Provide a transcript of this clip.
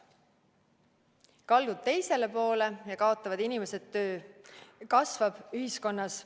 Kaldud teisele poole, kaotavad inimesed töö, kasvab ühiskonnas ...